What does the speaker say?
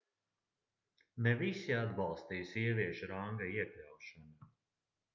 ne visi atbalstīja sieviešu ranga iekļaušanu